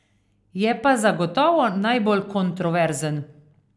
Je pa zagotovo najbolj kontroverzen.